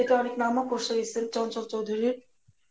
এটা অনেক নামও চঞ্চল চৌধুরীর